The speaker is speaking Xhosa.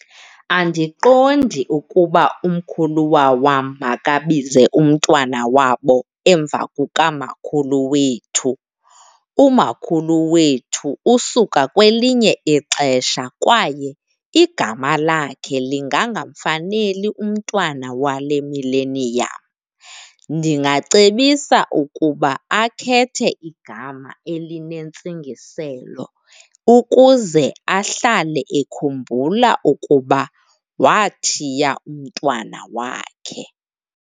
Andiqondi ukuba umkhuluwa wam makabize umntwana wabo emva kukamakhulu wethu. Umakhulu wethu usuka kwelinye ixesha kwaye igama lakhe lingangamfaneli umntwna wale mileniyam. Ndingacebisa ukuba akhethe igama elinentsingiselo ukuze ahlale ekhumbula ukuba wathiya umntwana wakhe.